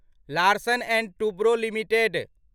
Larsen and Toubro limited